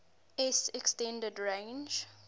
s extended range